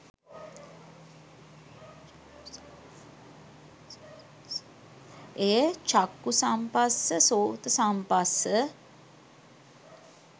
එය චක්ඛු සම්පස්ස, සොත සම්පස්ස,